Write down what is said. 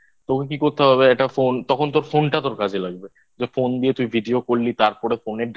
তোকে কি করতে হবে? একটা Phone তখন তোর Phone টা তোর কাজে লাগবে যে Phone দিয়ে তুই Video করলি তারপরে Phone এর